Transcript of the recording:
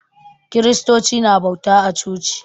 Kiristoci na bauta a coci